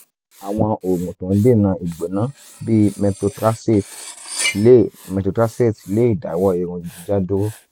àwọn oògùn tó ń dènà ìgbóná bíi methotraxate lè methotraxate lè dáwọ́ irun jíjá dúró